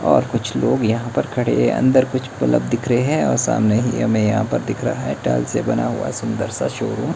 और कुछ लोग यहां पर खड़े हैं अंदर कुछ बल्ब दिख रहे हैं और सामने ही हमें यहां पर दिख रहा है टाइल्स से बना हुआ सुंदर सा शोरूम ।